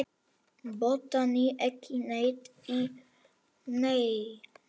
Botnaði ekki neitt í neinu.